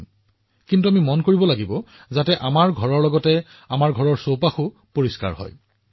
কিন্তু ইয়াৰ মাজতে আমি মনত ৰাখিব লাগিব যে আমাৰ ঘৰৰ সৈতে আমাৰ চৌপাশো পৰিষ্কাৰ হব লাগে